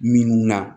Minnu na